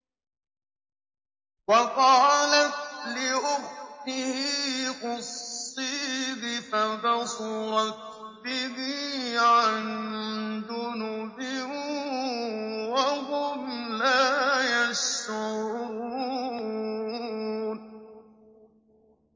وَقَالَتْ لِأُخْتِهِ قُصِّيهِ ۖ فَبَصُرَتْ بِهِ عَن جُنُبٍ وَهُمْ لَا يَشْعُرُونَ